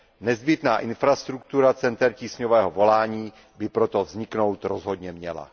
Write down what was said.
Nezbytná infrastruktura center tísňového volání by proto vzniknout rozhodně měla.